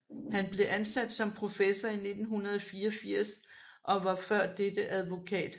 Han blev ansat som professor i 1984 og var før dette advokat